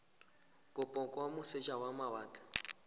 kopo kwa moseja wa mawatle